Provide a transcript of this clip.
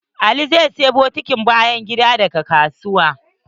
Ali zai siya bokiti na bayan gida daga kasuwa.